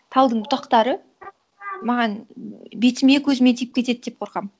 талдың бұтақтары маған бетіме көзіме тиіп кетеді деп қорқамын